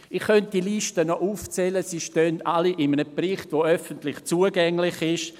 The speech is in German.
Ich könnte diese Projekte noch aufzählen, sie stehen alle in einem Bericht, der öffentlich zugänglich ist.